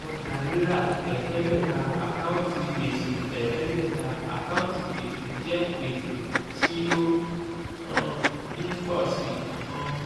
ọjà-rírà ẹ̀ẹ́dégbẹ̀ta àkáǹtì gbèsè ẹ̀ẹ́dẹ́gbẹ̀ta àkáǹtì gbèsè jẹ́ gbèsè tí ó um ń ń pọ̀ sí um í.